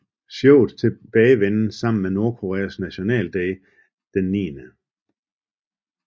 Showets tilbagevenden faldt sammen med Nordkoreas nationalday den 9